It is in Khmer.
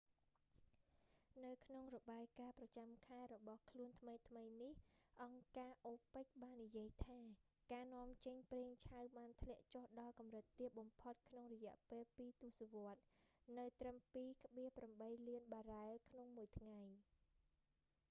នៅក្នុងរបាយការណ៍ប្រចាំខែរបស់ខ្លួនថ្មីៗនេះ អង្គការ opec បាននិយាយថា ការនាំចេញប្រេងឆៅបានធ្លាក់ចុះដល់កម្រិតទាបបំផុតក្នុងរយៈពេលពីរទសវត្សរ៍ នៅត្រឹម 2,8 លានបារ៉ែលក្នុងមួយថ្ងៃ